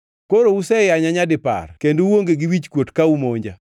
Koro useyanya nyadipar kendo uonge gi wichkuot ka umonja.